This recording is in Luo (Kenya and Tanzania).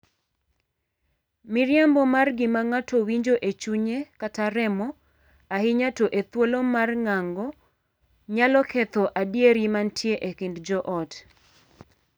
Miriambo mar gima ng'ato winjo e chunye kata remo, ahinya to e thuolo mar ng'ango, nyalo ketho adieri mantie e kind joot.